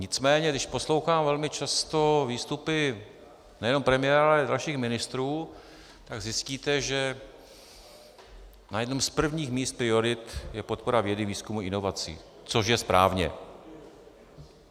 Nicméně když poslouchám velmi často výstupy nejenom premiéra, ale i dalších ministrů, tak zjistíte, že na jednom z prvních míst priorit je podpora vědy, výzkumu, inovací, což je správně.